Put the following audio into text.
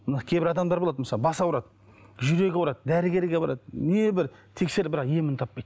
мына кейбір адамдар болады мысалы басы ауырады жүрегі ауырады дәрігерге барады небір тексеріп бірақ емін таппайды